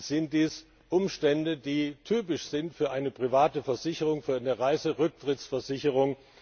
Es sind dies Umstände, die typisch sind für eine private Versicherung, für eine Reiserücktrittsversicherung.